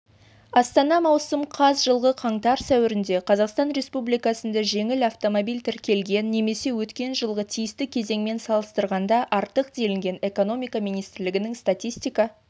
астана маусым қаз жылғы қаңтар-сәуірде қазақстан республикасында жеңіл автомобиль тіркелген немесе өткен жылғы тиісті кезеңмен салыстырғанда артық делінген экономика министрлігінің статистика